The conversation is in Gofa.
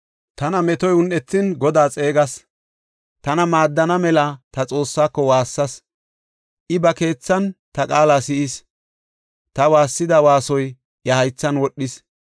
Tana metoy un7ethin Godaa xeegas; tana maaddana mela ta Xoossaako waassas. I ba keethan ta qaala si7is; ta waassida waasoy iya haythan wodhis.